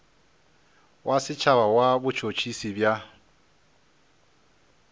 wa setšhaba wa botšhotšhisi bja